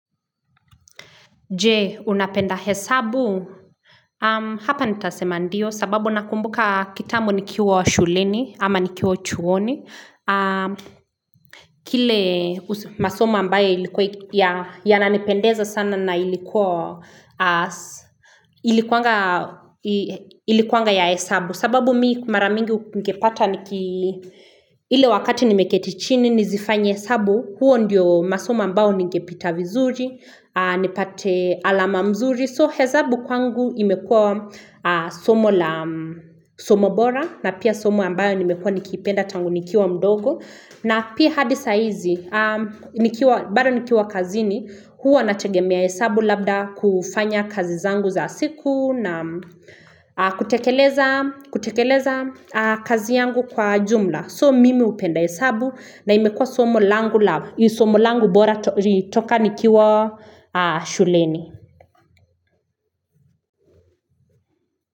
Je, unapenda hesabu? Hapa nitasema ndio, sababu nakumbuka kitambo nikiwa shuleni, ama nikiwa chuoni. Kile masomo ambaye yananipendeza sana na ilikuwa ilikuwanga ya hesabu. Sababu mimi mara mingi ungepata ile wakati nimeketi chini, nizifanye hesabu. Huo ndiyo masomo ambao ningepita vizuri nipate alama mzuri so hezabu kwangu imekua somo la somobora na pia somo ambayo nimekua nikiipenda tangu nikiwa mdogo na pia hadi saa hizi bado nikiwa kazini huwa nategemea hesabu labda kufanya kazi zangu za siku na kutekeleza kutekeleza kazi yangu kwa jumla so mimi hupenda hesabu na imekua somo langu la, ni somo langu bora kutoka nikiwa shuleni.